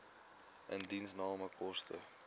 indiensname koste